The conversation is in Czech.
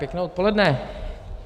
Pěkné odpoledne.